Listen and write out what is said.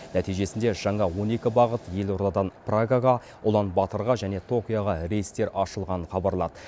нәтижесінде жаңа он екі бағыт елордадан прагаға ұлан батырға және токиоға рейстер ашылғанын хабарлады